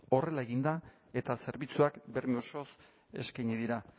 horrela egin da eta zerbitzuak berme osoz eskaini dira